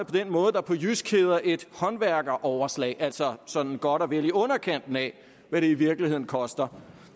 den måde der på jysk hedder et håndværkeroverslag altså sådan godt og vel i underkanten af hvad det i virkeligheden koster